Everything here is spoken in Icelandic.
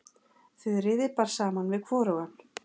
Þuríði bar saman við hvorugan.